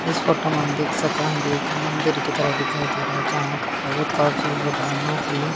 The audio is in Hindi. इस फोटो में हम देख सकां ये एक मंदिर की तरह दिखाई दे रहा जहां पर काफी भगवानों की--